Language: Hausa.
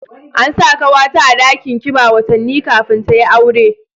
An sa kawata a dakin kiba watanni kafin ta yi aure